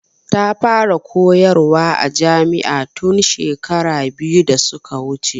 Ta fara koyar wa a jami'a tun shekaru biyu da suka wuce.